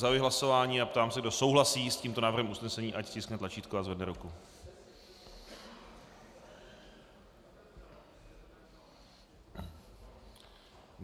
Zahajuji hlasování a ptám se, kdo souhlasí s tímto návrhem usnesení, ať stiskne tlačítko a zvedne ruku.